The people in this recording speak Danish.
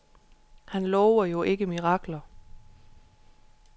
Han lover jo ikke mirakler.